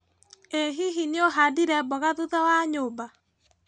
ĩ hihi nĩũhandire mboga thutha wa nyũmba?